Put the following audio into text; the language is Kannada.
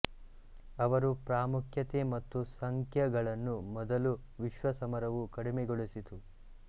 ಅವರು ಪ್ರಾಮುಖ್ಯತೆ ಮತ್ತು ಸಂಖ್ಯಗಳನ್ನು ಮೊದಲ ವಿಶ್ವ ಸಮರವು ಕಡಿಮೆಗೊಳಿಸಿತು